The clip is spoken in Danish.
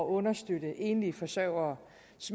understøtte enlige forsørgeres